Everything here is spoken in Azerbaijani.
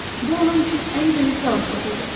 Bu onun üçün ən böyük fəlakət idi.